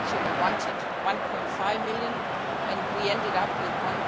We had initially wanted EUR 1.5 billion and we ended up with EUR